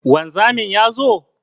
Wanzamin ya zo?